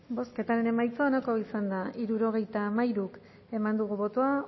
bozketaren emaitza onako izan da hirurogeita hamairu eman dugu bozka